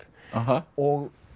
og